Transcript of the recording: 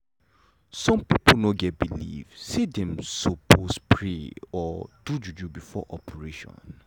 some pipo get belief say dem sopose pray or do juju before operation.